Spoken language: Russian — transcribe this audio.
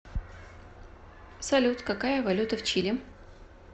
салют какая валюта в чили